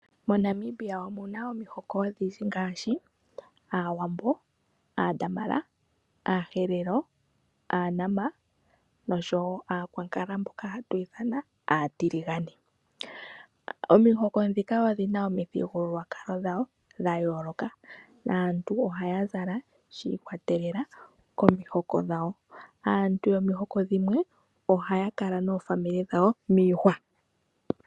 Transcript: MoNamibia omu na omihoko odhindji ngaashi Aawambo, Aadamara, Aaherero, Aanama noshowo Aakwankala mboka hatu ithana aatiligane. Omihoko ndhika odhi na omithigululwakalo dhadho dha yooloka. Aantu ohaya zala shi ikwatelela komihoko dhawo. Aantu yomihoko dhimwe ohaa kala noofamili dhawo miihwa.